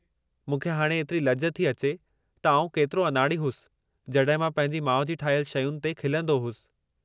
मूंखे हाणे एतिरी लॼ थी अचे त आऊं केतिरो अनाड़ी होसि जॾहिं मां पंहिंजी माउ जी ठाहियलु शयुनि ते खिलंदो होसि।